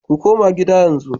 Ku koma gida yanzu